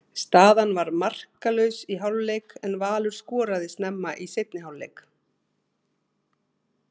Staðan var markalaus í hálfleik en Valur skoraði snemma í seinni hálfleik.